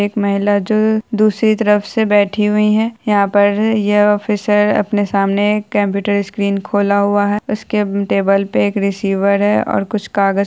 एक महिला जो दूसरी तरफ से बैठी हुई है यहां पर यह ऑफिसर अपने सामने कंप्यूटर स्क्रीन खोला हुआ है उसके टेबल पर एक रिसीवर है और कुछ कागज --